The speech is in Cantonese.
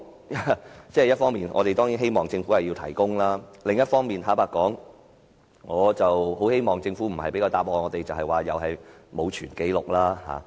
一方面，我們當然希望政府提供這些文件，但另一方面，坦白說，我不希望政府給我們的答覆是它沒有保存有關紀錄。